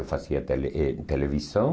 Eu fazia tele eh televisão.